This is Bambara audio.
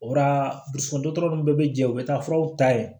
O la dusu dɔtɔtɔrɔ ninnu bɛɛ bɛ jɛ u bɛ taa furaw ta yen